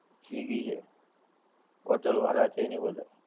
Swiggy છે, hotel વાળાં છે ને એ બધા.